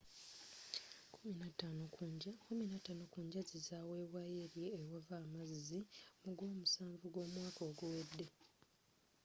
kkumi na taano ku njazi zawebwayo eri ewava amazzi mu gwomusanvu gw'omwaka oguwedde